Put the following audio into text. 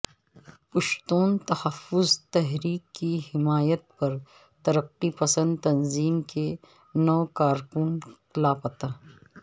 پشتون تحفظ تحریک کی حمایت پر ترقی پسند تنظیم کے نو کارکن لاپتا